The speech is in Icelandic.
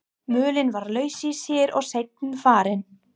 Mölin var laus í sér og seinfarin.